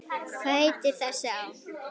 Hvað heitir þessi á?